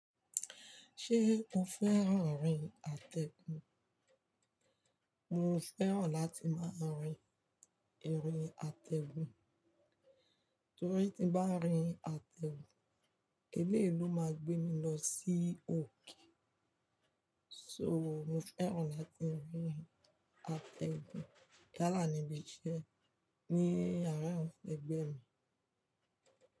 Ṣé o fẹ́ràn rin ategun? Mo fẹ́ràn láti máa rin erin ategun, torí tí bá rin ategun, eleyii ló máa gbé mi lọ sí òkè. So mo fẹ́ràn láti rin ategun, yálá ni mí ṣé, ní àárin awon egbẹ mi.